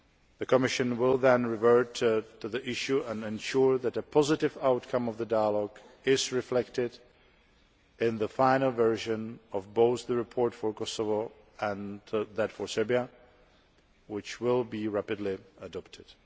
The Commission will then revert to the issue and ensure that a positive outcome of the dialogue is reflected in the final version of both the report for Kosovo and that for Serbia, which will be rapidly adopted.